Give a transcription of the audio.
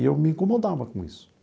E eu me incomodava com isso.